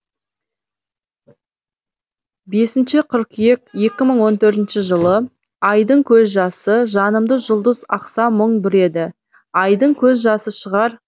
бесінші қыркүйек екі мың он төртінші жылы айдың көз жасы жанымды жұлдыз ақса мұң бүреді айдың көз жасы шығар